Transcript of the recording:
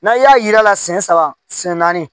N'a y'a jira a la siɲɛ saba siyɛn naani